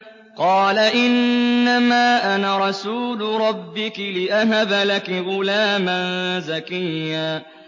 قَالَ إِنَّمَا أَنَا رَسُولُ رَبِّكِ لِأَهَبَ لَكِ غُلَامًا زَكِيًّا